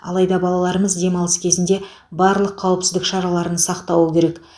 алайда балаларымыз демалыс кезінде барлық қауіпсіздік шараларын сақтауы керек